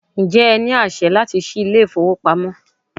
Ǹjẹ́ ẹ ní àṣẹ láti ṣí ilé ìfowópamọ́?